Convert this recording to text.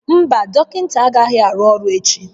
Mba, dọkịta agaghị arụ ọrụ echi